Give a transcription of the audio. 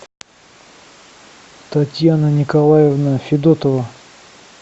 татьяна николаевна федотова